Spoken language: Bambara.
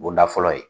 Bonda fɔlɔ ye